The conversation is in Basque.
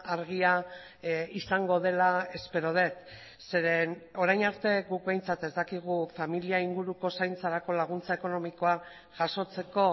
argia izango dela espero dut zeren orain arte guk behintzat ez dakigu familia inguruko zaintzarako laguntza ekonomikoa jasotzeko